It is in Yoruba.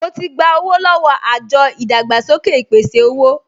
Mo ti gba owó lọ́wọ́ àjọ ìdàgbàsókè ìpèsè-owó